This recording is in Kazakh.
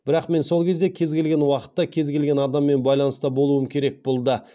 бірақ мен сол кезде кез келген уақытта кез келген адаммен байланыста болуым керек болды